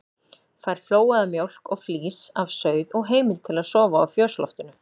Fær flóaða mjólk og flís af sauð og heimild til að sofa á fjósloftinu.